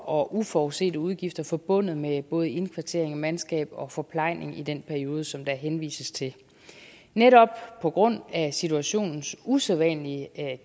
og uforudsete udgifter forbundet med både indkvartering mandskab og forplejning i den periode som der henvises til netop på grund af situationens usædvanlige